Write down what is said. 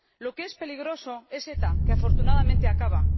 lo que es peligroso es ETA, que afortunadamente acaba.